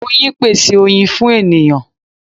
Oyin pese oyin fun eniyan